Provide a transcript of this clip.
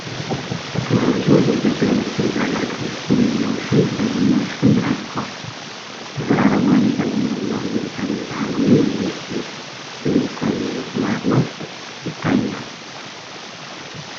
በሰማያዊ ጽሑፍ "የኢትዮጵያ ኤሌክትሪክ አገልግሎት" የሚለው ስም በግማሽ ክብ ተጽፏል። ከስር አረንጓዴ ቀለም ያለው የፀሐይ ብርሃን ወይም የኤሌክትሪክ ብልጭታ የሚመስል አርማ ይታያል።